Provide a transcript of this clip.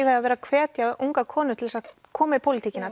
að vera að hvetja ungar konur til þess að koma í pólitíkina